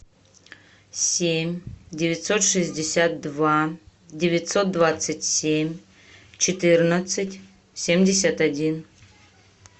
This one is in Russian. семь девятьсот шестьдесят два девятьсот двадцать семь четырнадцать семьдесят один